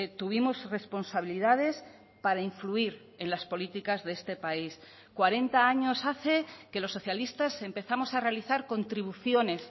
tuvimos responsabilidades para influir en las políticas de este país cuarenta años hace que los socialistas empezamos a realizar contribuciones